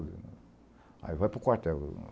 Aí vai para o quartel.